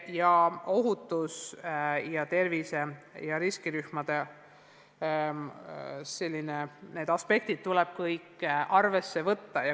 Kõiki ohutuse, tervise ja riskirühmadega seotud aspekte tuleb arvesse võtta.